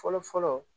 Fɔlɔ fɔlɔ